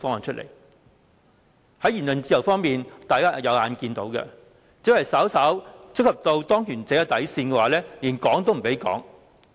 在言論自由方面，只要稍為觸及當權者的底線，便連說都不能說。